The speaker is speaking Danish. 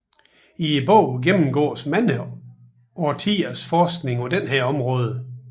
I bogen gennemgåes mange årtiers forskning på dette område